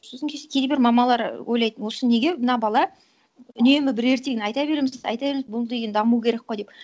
сосын кейбір мамалар ойлайды осы неге мына бала үнемі бір ертегіні айта береміз айта береміз бұл деген даму керек қой деп